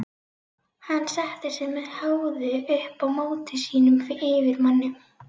Hann setti sig með háði upp á móti sínum yfirmanni.